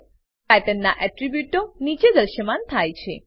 pattern નાં એટ્રીબ્યુટો નીચે દ્રશ્યમાન થાય છે